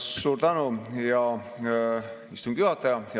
Suur tänu, hea istungi juhataja!